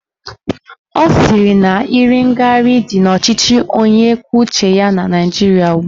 Ọ sị na iri ngarị dị n'ọchịchị onye kwuo uche ya na Naijiria ugbua